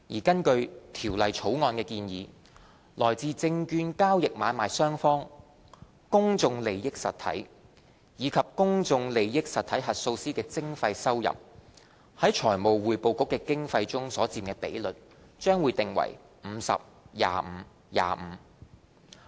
根據《條例草案》的建議，來自證券交易買賣雙方、公眾利益實體及公眾利益實體核數師的徵費收入，在財務匯報局的經費中所佔比率，將訂為 50：25：25。